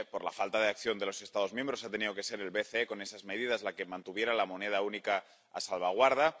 Por la falta de acción de los Estados miembros ha tenido que ser el BCE, con esas medidas, el que mantuviera la moneda única a salvaguarda.